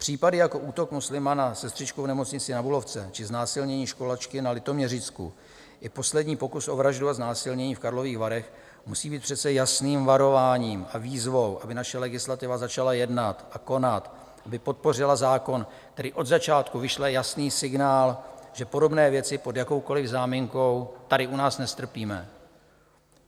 Případy jako útok muslima na sestřičku v nemocnici na Bulovce či znásilnění školačky na Litoměřicku i poslední pokus o vraždu a znásilnění v Karlových Varech musí být přece jasným varováním a výzvou, aby naše legislativa začala jednat a konat, aby podpořila zákon, který od začátku vyšle jasný signál, že podobné věci pod jakoukoliv záminkou tady u nás nestrpíme.